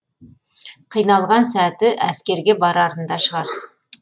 қиналған сәті әскерге барарында шығар